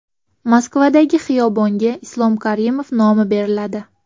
Moskvadagi xiyobonga Islom Karimov nomi beriladi .